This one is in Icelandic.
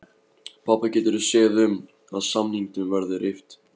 Pabbi getur séð um, að samningnum verði rift